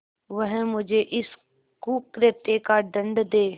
वह मुझे इस कुकृत्य का दंड दे